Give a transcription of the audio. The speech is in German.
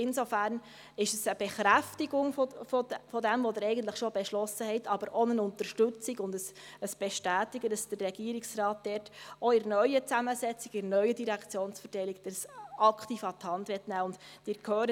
Insofern ist es eine Bekräftigung dessen, was Sie eigentlich schon beschlossen haben, aber auch eine Unterstützung und eine Bestätigung, dass der Regierungsrat dies auch in der neuen Zusammensetzung, in der neuen Direktionsverteilung aktiv an die Hand nehmen will.